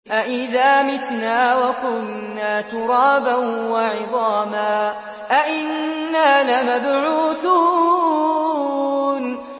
أَإِذَا مِتْنَا وَكُنَّا تُرَابًا وَعِظَامًا أَإِنَّا لَمَبْعُوثُونَ